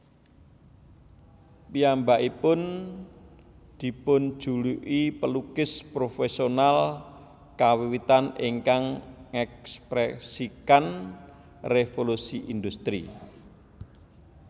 Piyambakipun dipunjuluki pelukis profesional kawiwitan ingkang ngèkspresikan Revolusi Industri